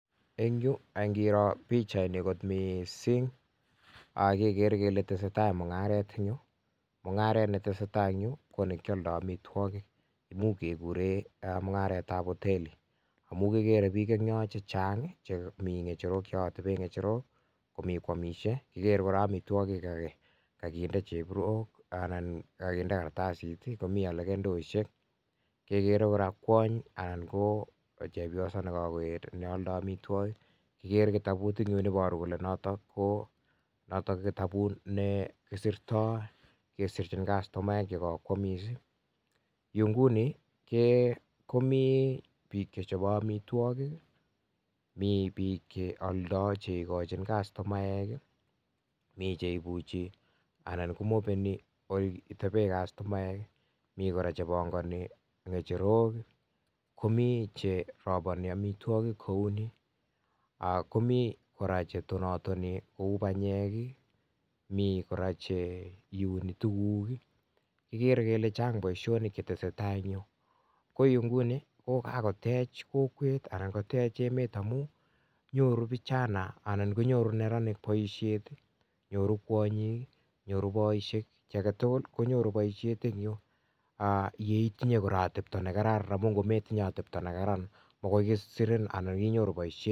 eng yuu angiroo pichainii eng mising keker chepyoso nealdai amitwagik ak kekere kitabut nemitei yotok nepo sirchineet ap amitwagik ak komii tei piik chetonatonii panyeek ak kora komitei kora alakee chee uni tuguuk ak kora ikere ile nyuu kochang poishonik chechang magosani kichanaee chuu poishonii chuutok chuu nyoruu poisheek ak piik alak tugul ako meche itinye ateptaaa nekararan